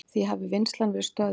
Því hafi vinnslan verið stöðvuð.